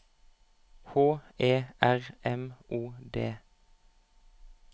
H E R M O D